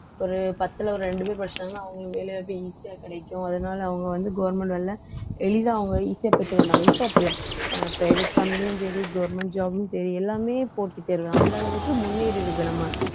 ஒரு பத்துல ஒரு ரெண்டு பேர் படிச்சாங்கன்னா அவங்களுக்கு வேலை வாய்ப்பு easy ஆ கிடைக்கும் அதனால அவங்க வந்து government வேலை எளிதா அவங்க easy ஆ பெற்றுக் கொண்டாங்க இப்ப அப்படித்தான் அஹ் private company லயும் சரி government job ம் சரி எல்லாமே போட்டித் தேர்வு அந்த அளவுக்கு முன்னேறி இருக்கு நம்ம